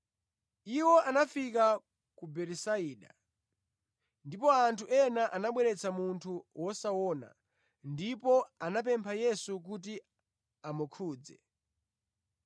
Iwo anafika ku Betisaida, ndipo anthu ena anabweretsa munthu wosaona ndipo anamupempha Yesu kuti amukhudze.